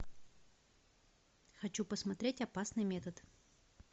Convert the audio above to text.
хочу посмотреть опасный метод